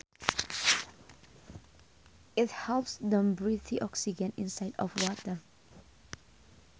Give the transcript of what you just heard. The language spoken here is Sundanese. It helps them breathe oxygen inside of water